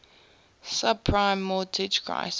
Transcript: subprime mortgage crisis